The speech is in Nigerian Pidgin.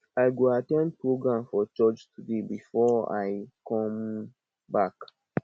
i go at ten d program for church today before i come back